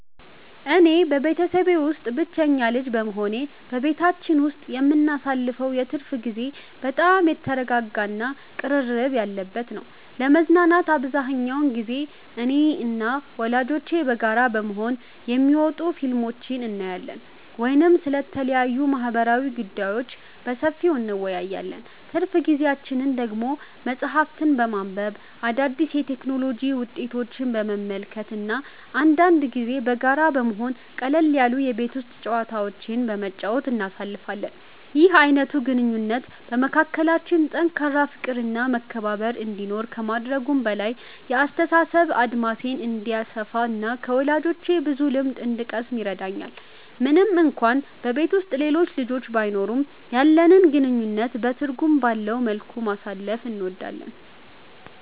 እኔ በቤተሰቤ ውስጥ ብቸኛ ልጅ በመሆኔ፣ በቤታችን ውስጥ የምናሳልፈው የትርፍ ጊዜ በጣም የተረጋጋ እና ቅርርብ ያለበት ነው። ለመዝናናት አብዛኛውን ጊዜ እኔና ወላጆቼ በጋራ በመሆን የሚወጡ ፊልሞችን እናያለን ወይም ስለተለያዩ ማህበራዊ ጉዳዮች በሰፊው እንወያያለን። ትርፍ ጊዜያችንን ደግሞ መጽሐፍትን በማንበብ፣ አዳዲስ የቴክኖሎጂ ውጤቶችን በመመልከት እና አንዳንድ ጊዜም በጋራ በመሆን ቀለል ያሉ የቤት ውስጥ ጨዋታዎችን በመጫወት እናሳልፋለን። ይህ አይነቱ ግንኙነት በመካከላችን ጠንካራ ፍቅር እና መከባበር እንዲኖር ከማድረጉም በላይ፣ የአስተሳሰብ አድማሴ እንዲሰፋ እና ከወላጆቼ ብዙ ልምድ እንድቀስም ይረዳኛል። ምንም እንኳን በቤት ውስጥ ሌሎች ልጆች ባይኖሩም፣ ያለንን ጊዜ በትርጉም ባለው መልኩ ማሳለፍ እንወዳለን።